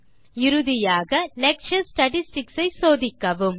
இறுதியாக lecture statistics ஐ சோதிக்கவும்